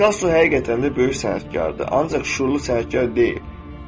Pikasso həqiqətən də böyük sənətkardır, ancaq şüurlu sənətkar deyil.